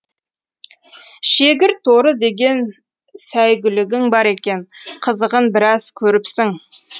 шегірторы деген сәйгүлігің бар екен қызығын біраз көріпсің